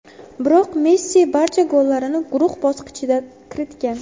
Biroq Messi barcha gollarini guruh bosqichida kiritgan.